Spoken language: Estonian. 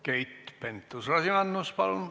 Keit Pentus-Rosimannus, palun!